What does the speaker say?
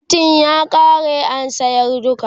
faintin ya ƙare an sayar duka